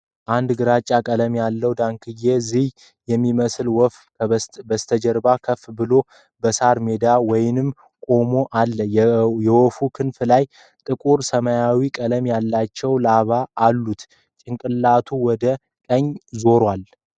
አንድ ግራጫ ቀለም ያለው ዳክዬ/ ዝይ የሚመስል ወፍ በጀርባው ከፍ ብሎ በሳር ሜዳ ውስጥ ቆሞ አለ። የወፉ ክንፎች ላይ ጥቁር ሰማያዊ ቀለም ያላቸው ላባዎች አሉት፤ ጭንቅላቱ ወደ ቀኝ ዞሯል።